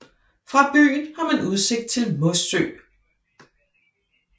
Fra byen har man udsigt til Mossø